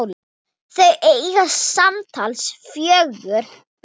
Þau eiga samtals fjögur börn.